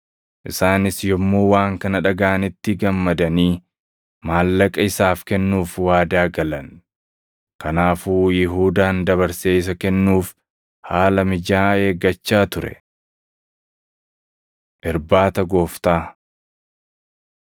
Isaanis yommuu waan kana dhagaʼanitti gammadanii, maallaqa isaaf kennuuf waadaa galan. Kanaafuu Yihuudaan dabarsee isa kennuuf haala mijaaʼaa eeggachaa ture. Irbaata Gooftaa 14:12‑26 kwf – Mat 26:17‑30; Luq 22:7‑23 14:22‑25 kwf – 1Qr 11:23‑25